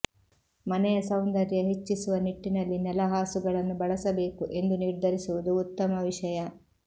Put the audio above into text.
ಮನೆಯ ಸೌಂದರ್ಯ ಹೆಚ್ಚಿಸುವ ನಿಟ್ಟಿನಲ್ಲಿ ನೆಲಹಾಸುಗಳನ್ನು ಬಳಸಬೇಕು ಎಂದು ನಿರ್ಧರಿಸುವುದು ಉತ್ತಮ ವಿಷಯ